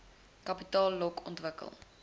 kapitaal lok ontwikkel